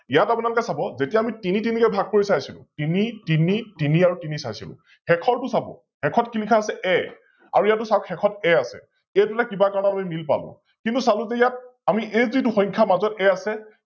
ইয়াত আপোনালোকে চাব, যেতিয়া আমি তিনি তিনি কৈ ভাগ কৰি চাইছিলো, তিনি, তিনি, তিনি আৰু তিনি চাইছিলো, শেষৰটো চাব শেষত কি লিখা আছে A আৰু ইয়াতো চাওক শেষত আছে A আছে, এইটোলে কিবা কাৰনত আমি Nill পালো, কিন্তু চালো যে ইয়াত এই যিতো সংখ্যাৰ মাজত A আছে